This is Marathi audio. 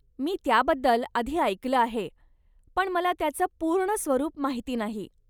मी त्याबद्दल आधी ऐकलं आहे पण मला त्याचं पूर्ण स्वरुप माहिती नाही.